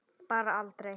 Bara aldrei.